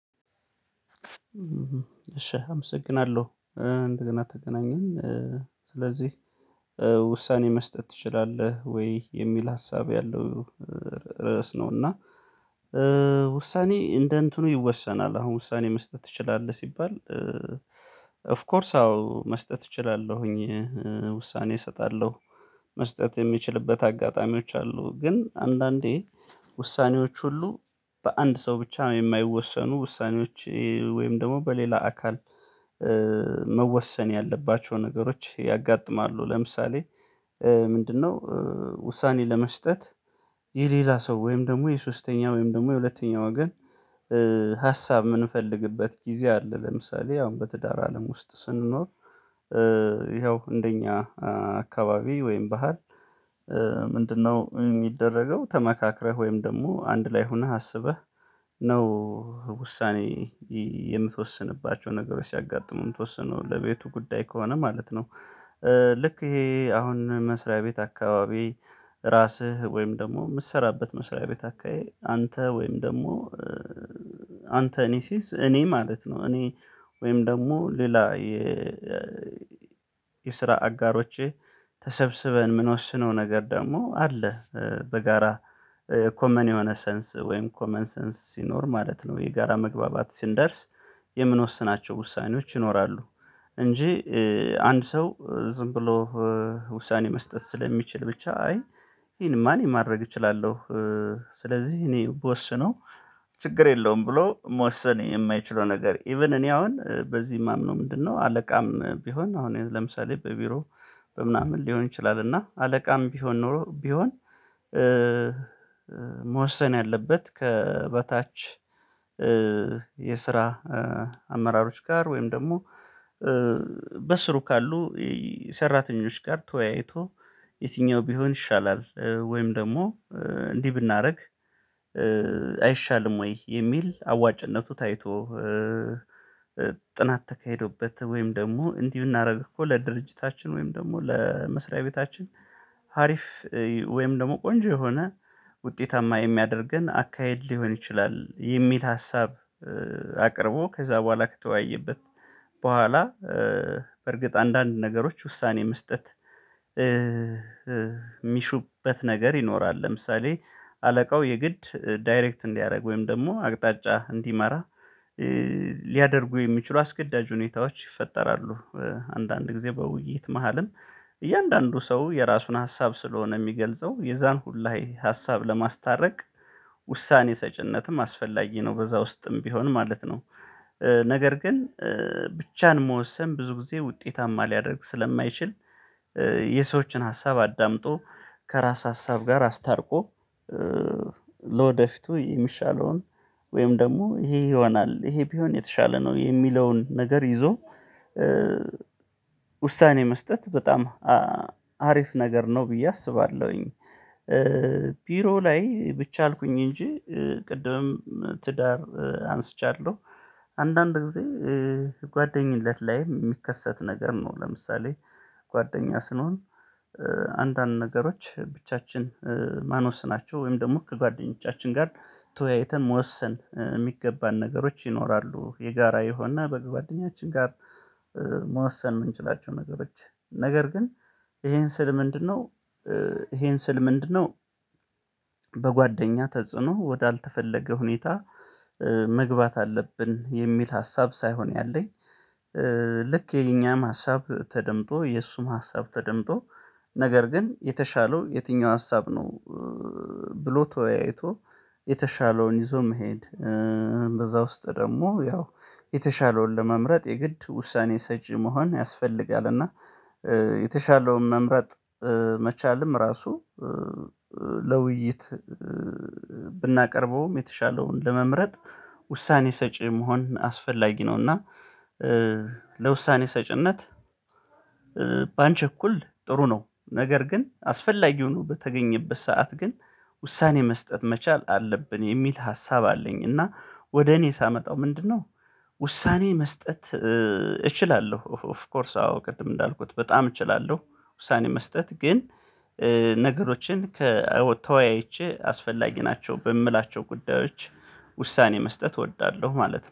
እሺ አመሰግናለሁ እንደገና ተገናኘን ስለዚህ ውሳኔ መስጠት ትችላለህ ወይ የሚል ሀሳብ ያለው ርዕስ ነው። እና ውሳኔ እንደ እንትኑ ይወሰናል አሁን ውሳኔ መስጠት ትችላለህ ሲባል። ኦፍ ኮርስ አዎ መስጠት እችላለሁኝ። ውሳኔ እሰጣለሁ። መስጠት የሚችልበት አጋጣሚዎች አሉ። ግን አንዳንዴ ውሳኔዎች ሁሉ በአንድ ሰው ብቻ የማይወሰኑ ውሳኔዎች ወይም ደግሞ በሌላ አካል መወሰን ያለባቸው ነገሮች ያጋጥማሉ። ለምሳሌ ምንድነው? ውሳኔ ለመስጠት የሌላ ሰው ወይም ደግሞ የሶስተኛ ወይም ደግሞ የሁለተኛ የሁለተኛው ወገን ሀሳብ የምንፈልግበት ጊዜ አለ። ለምሳሌ አሁን በትዳር አለም ውስጥ ስንኖር ይኸው እንደኛ አካባቢ ወይም ባህል። ምንድነው? የሚደረገው ተመካክረህ ወይም ደግሞ አንድ ላይ ሆነህ አስበህ ነው ውሳኔ የምትወስንባቸውን ነገሮች ሲያጋጥሙ የምትወስነው ለቤቱ ጉዳይ ከሆነ ማለት ነው። ልክ ይሄ አሁን መስሪያ ቤት አካባቢ ራስህ ወይም ደግሞ የምትሰራበት መስሪያ ቤት አካባቢ አንተ ወይም ደግሞ አንተ እኔ ሲዝ እኔ ማለት ነው። እኔ ወይም ደግሞ ሌላ የ የስራ አጋሮቼ ተሰብስበን የምንወስነው ነገር ደግሞ አለ። በጋራ ኮመን የሆነ ሰንስ ወይም ኮመን ሰንስ ሲኖር ማለት ነው የጋራ መግባባት ሲንደርስ የምንወስናቸው ውሳኔዎች ይኖራሉ። እንጂ አንድ ሰው ዝም ብሎ ውሳኔ መስጠት ስለሚችል ብቻ አይ ይሄንማ እኔ ማድረግ እችላለሁ። ስለዚህ እኔ ብወስነው ችግር የለውም። ብሎ መወሰን የማይችለው ነገር ኢቭን እኔ አሁን በዚህ የማምነው ምንድነው? አለቃም ቢሆን አሁን ለምሳሌ በቢሮ በምናምን ሊሆን ይችላል። እና አለቃም ቢሆን ኖሮ ቢሆን። መወሰን ያለበት ከበታች የስራ አመራሮች ጋር ወይም ደግሞ በስሩ ካሉ ሰራተኞች ጋር ተወያይቶ የትኛው ቢሆን ይሻላል ወይም ደግሞ እንዲህ ብናደርግ። አይሻልም ወይ? የሚል አዋጭነቱ ታይቶ ጥናት ተካሂዶበት ወይም ደግሞ እንዲህ ብናደርግ እኮ ለድርጅታችን ወይም ደግሞ ለመስሪያ ቤታችን ሀሪፍ ወይም ደግሞ ቆንጆ የሆነ ውጤታማ የሚያደርገን አካሄድ ሊሆን ይችላል የሚል ሀሳብ። አቅርቦ ከዛ በኋላ ከተወያየበት በኋላ በርግጥ አንዳንድ ነገሮች ውሳኔ መስጠት የሚሹበት ነገር ይኖራል። ለምሳሌ አለቃው የግድ ዳይሬክት እንዲያደርግ ወይም ደግሞ አቅጣጫ እንዲመራ ሊያደርጉ የሚችሉ አስገዳጅ ሁኔታዎች ይፈጠራሉ። አንዳንድ ጊዜ በውይይት መሃልም እያንዳንዱ ሰው የራሱን ሀሳብ ስለሆነ የሚገልጸው የዛን ሁላዬ ሀሳብ ለማስታረቅ ውሳኔ ሰጪነትም አስፈላጊ ነው በዛ ውስጥም ቢሆን ማለት ነው። ነገር ግን ብቻን መወሰን ብዙ ጊዜ ውጤታማ ሊያደርግ ስለማይችል። የሰዎችን ሀሳብ አዳምጦ ከራስ ሀሳብ ጋር አስታርቆ ለወደፊቱ የሚሻለውን ወይም ደግሞ ይሄ ይሆናል ይሄ ቢሆን የተሻለ ነው የሚለውን ነገር ይዞ። ውሳኔ መስጠት በጣም አሪፍ ነገር ነው ብዬ አስባለሁኝ። ቢሮ ላይ ብቻ አልኩኝ እንጂ ቅድምም ትዳር አንስቻለሁ። አንዳንድ ጊዜ ጓደኝነት ላይ የሚከሰት ነገር ነው ለምሳሌ ጓደኛ ስንሆን። አንዳንድ ነገሮች ብቻችን ማንወስናቸው ወይም ደግሞ ከጓደኞቻችን ጋር ተወያይተን መወሰን የሚገባን ነገሮች ይኖራሉ። የጋራ የሆነ በግ ጓደኛችን ጋር መወሰን የምንችላቸው ነገሮች። ነገር ግን ይሄን ስል ምንድነው? ይሄን ስል ምንድነው? በጓደኛ ተጽዕኖ ወደ አልተፈለገ ሁኔታ መግባት አለብን የሚል ሀሳብ ሳይሆን ያለኝ። ልክ የኛም ሀሳብ ተደምጦ የእሱም ሀሳብ ተደምጦ ነገር ግን የተሻለው የትኛው ሀሳብ ነው። ብሎ ተወያይቶ የተሻለውን ይዞ መሄድ። በዛ ውስጥ ደግሞ ያው የተሻለውን ለመምረጥ የግድ ውሳኔ ሰጪ መሆን ያስፈልጋል። እና የተሻለውን መምረጥ መቻልም ራሱ። ለውይይት ብናቀርበውም የተሻለውን ለመምረጥ ውሳኔ ሰጪ መሆን አስፈላጊ ነው። እና ለውሳኔ ሰጪነት ባንቸኩል ጥሩ ነው። ነገር ግን አስፈላጊ የሆኑ በተገኘበት ሰዓት ግን ውሳኔ መስጠት መቻል አለብን የሚል ሀሳብ አለኝ። እና ወደ እኔ ሳመጣው ምንድነው? ውሳኔ መስጠት እችላለሁ ኦፍ ኮርስ አዎ ቅድም እንዳልኩት በጣም እችላለሁ። ውሳኔ መስጠት ግን ነገሮችን ከተወያይቼ አስፈላጊ ናቸው በምላቸው ጉዳዮች ውሳኔ መስጠት እወዳለሁ። ማለት ነው